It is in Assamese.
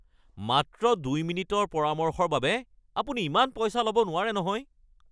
মাত্ৰ ২ মিনিটৰ পৰামৰ্শৰ বাবে আপুনি ইমান পইচা ল'ব নোৱাৰে নহয়!